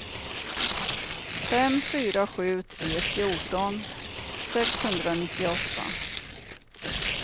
fem fyra sju tre fjorton sexhundranittioåtta